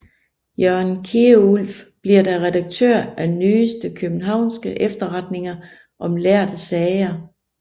Jørgen Kierulf bliver da redaktør af Nyeste Kiøbenhavnske Efterretninger om lærde Sager